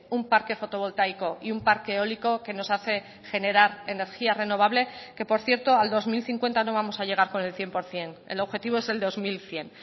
un parque fotovoltaico y un parque eólico que nos hace generar energía renovable que por cierto al dos mil cincuenta no vamos a llegar con el cien por ciento el objetivo es el dos mil cien